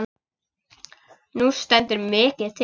Nú stendur mikið til.